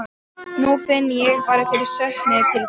Nú finn ég bara fyrir söknuði til þín.